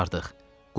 Qurtardıq.